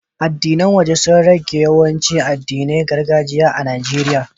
Addinan waje sun rage yawancin addinan gargajiya a Nijeriya.